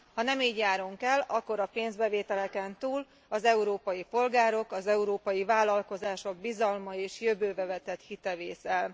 Ha nem így járunk el, akkor a pénzbevételeken túl az európai polgárok, az európai vállalkozások bizalma és jövőbe vetett hite vész el.